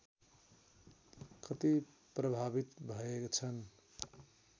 कति प्रभावित भएछन्